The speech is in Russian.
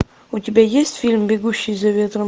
у тебя есть фильм бегущий за ветром